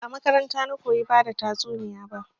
Ba a makaranta na koyi bada tatsuniya ba